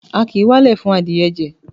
A kì í walẹ̀ fún adìẹ jẹ.